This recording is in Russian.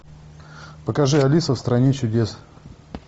покажи алиса в стране чудес